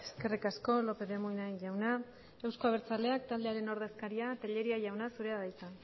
eskerrik asko lópez de munain jauna euzko abertzaleak taldearen ordezkaria tellería jauna zurea da hitza